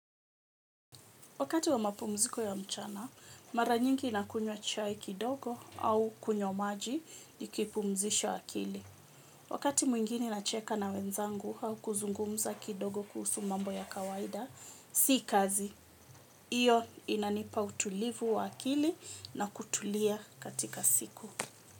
Wakati wa mapumziko ya mchana, mara nyingi nakunywa chai kidogo au kunywa maji nikipumzisha akili. Wakati mwingine nacheka na wenzangu au kuzungumza kidogo kuhusu mambo ya kawaida, si kazi. Iyo inanipa utulivu wa akili na kutulia katika siku.